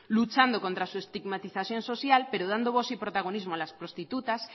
luchando contra su estigmatización social pero dando voz y protagonismo a las prostitutas